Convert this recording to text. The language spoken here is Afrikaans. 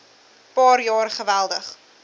paar jaar geweldig